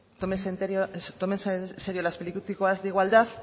tómese en serio las políticas de igualdad